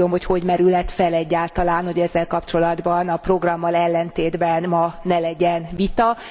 Nem tudom, hogy hogy merülhet fel egyáltalán, hogy ezzel kapcsolatban a programmal ellentétben ma ne legyen vita.